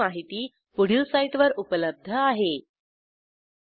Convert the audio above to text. ह्या ट्युटोरियलचे भाषांतर मनाली रानडे यांनी केले असून मी रंजना भांबळे आपला निरोप घेते160